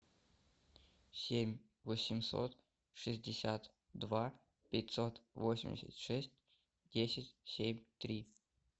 семь восемьсот шестьдесят два пятьсот восемьдесят шесть десять семь три